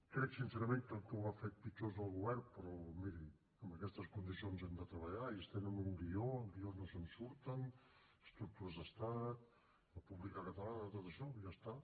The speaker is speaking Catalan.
crec sincerament que el que ho ha fet pitjor és el govern però miri en aquestes condicions hem de treballar i ells tenen un guió el guió no se’n surten estructures d’estat república catalana tot això ja està